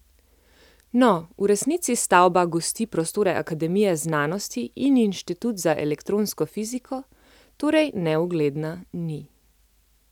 No, v resnici stavba gosti prostore akademije znanosti in inštitut za elektronsko fiziko, torej neugledna ni.